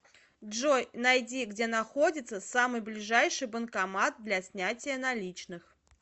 джой найди где находится самый ближайший банкомат для снятия наличных